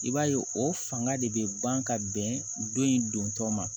I b'a ye o fanga de bɛ ban ka bɛn don in don tɔ ma